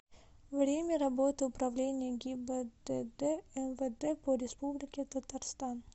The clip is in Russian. время работы управление гибдд мвд по республике татарстан